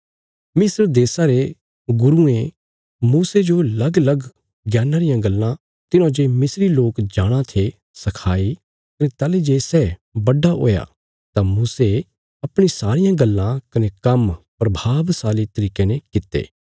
मिस्र देशा रे गुरुयें मूसे जो लगलग ज्ञाना रियां गल्लां तिन्हौं जे मिस्री लोक जाणाँ थे सखाई कने ताहली जे सै बड्डा हुया तां मूसे अपणी सारियां गल्लां कने काम्म प्रभावशाली तरिके ने कित्ते